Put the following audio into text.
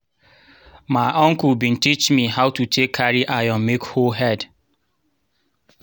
my uncle bin teach me how to take carry iron make hoe head.